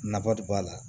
Nafa de b'a la